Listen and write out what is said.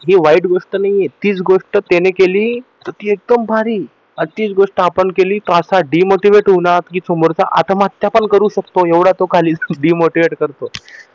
हि वाईट गोष्ट नाहीये तीच गोष्ट त्याने केली तर ती एकदम भारी आणि तीच गोष्ट जर आपण केली तर असा demotivate होऊ ना कि समोरचा आत्म्यहत्या पण करू शकतो एवढा तो खाली demotivate करतो